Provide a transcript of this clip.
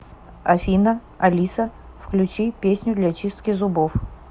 афина алиса включи песню для чистки зубов